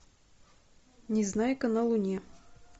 незнайка на луне